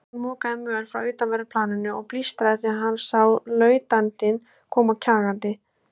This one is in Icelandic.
Stefán mokaði möl frá utanverðu planinu og blístraði þegar hann sá lautinantinn koma kjagandi.